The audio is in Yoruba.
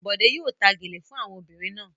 Bọ̀dé yóò ta gèlè fún àwọn obìnrin náà.